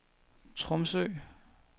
Tromsø